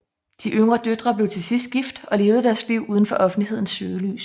De yngre døtre blev til sidst gift og levede deres liv uden for offentlighedens søgelys